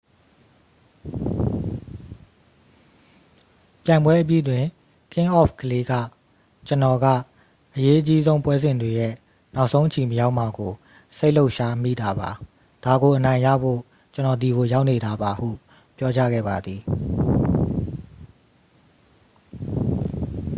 "ပြိုင်ပွဲအပြီးတွင် ကင်းအောဖ်ကလေး က "ကျွန်တော်က အရေးအကြီးဆုံးပွဲစဉ်တွေရဲ့ နောက်ဆုံးအချီမရောက်မှာကို စိတ်လှုပ်ရှားမိတာပါ။ ဒါကိုအနိုင်ယူဖို့ ကျွန်တော်ဒီကိုရောက်နေတာပါ၊" ဟု ပြောကြားခဲ့ပါသည်။